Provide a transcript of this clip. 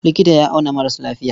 Likita ya auna maras lafiya.